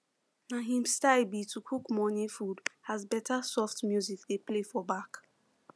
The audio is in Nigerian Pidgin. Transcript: na him style be to cook morning food as better soft music dey play for back